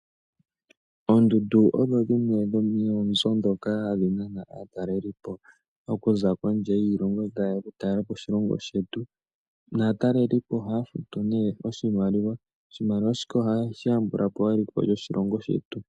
Oondundu odho dhinwe dhomoonzo ndhoka hadhi nana aatalelipo, okuza kondje yiilongo ta ye ya oku tala oshilongo shetu. Naatalelipo oha ya futu ne oshimaliwa. Oshimaliwa shika oha shi yambulapo eliko lyoshilongo shetu.